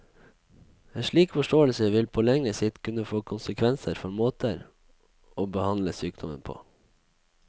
En slik forståelse vil på lengre sikt kunne få konsekvenser for måter å behandle sykdommen på.